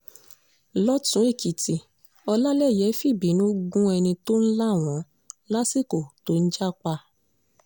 lọ́tùn-èkìtì ọlálèyé fìbínú gún ẹni tó ń là wọ́n lásìkò tó ń jà pa